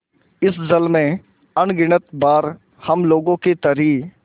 इस जल में अगणित बार हम लोगों की तरी